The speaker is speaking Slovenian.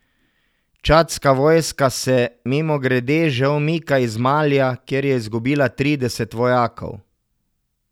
Čadska vojska se, mimogrede, že umika iz Malija, kjer je izgubila trideset vojakov.